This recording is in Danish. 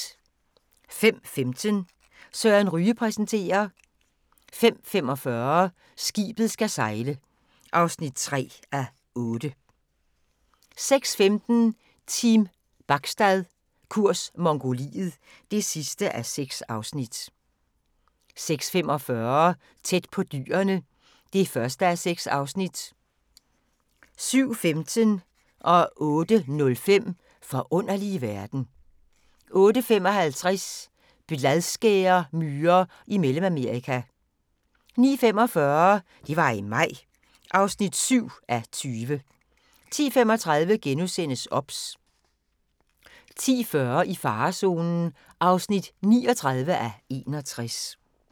05:15: Søren Ryge præsenterer 05:45: Skibet skal sejle (3:8) 06:15: Team Bachstad – kurs Mongoliet (6:6) 06:45: Tæt på dyrene (1:6) 07:15: Forunderlige verden 08:05: Forunderlige verden 08:55: Bladskæremyrer i Mellemamerika 09:45: Det var i maj (7:20) 10:35: OBS * 10:40: I farezonen (39:61)